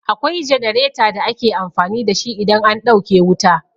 Akwai jenareta da ake amfani da shi idan an ɗauke wuta.